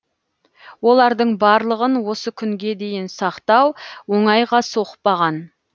олардың барлығын осы күнге дейін сақтау оңайға соқпаған